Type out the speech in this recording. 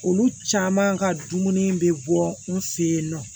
Olu caman ka dumuni bɛ bɔ n fɛ yen nɔ